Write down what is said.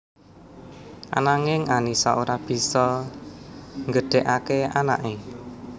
Ananging Annisa ora bisa nggedhéké anaké